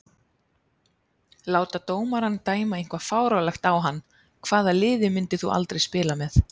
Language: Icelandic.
Láta dómarann dæma eitthvað fáránlegt á hann Hvaða liði myndir þú aldrei spila með?